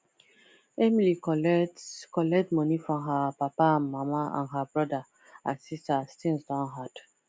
emily collect collect money from her papa and mama and her brother and sister as thngs don hard